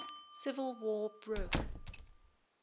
civil war broke